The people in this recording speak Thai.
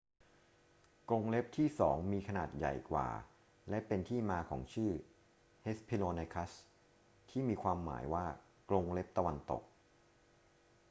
กรงเล็บที่สองมีขนาดใหญ่กว่า และเป็นที่มาของชื่อ hesperonychus ที่มีความหมายว่า กรงเล็บตะวันตก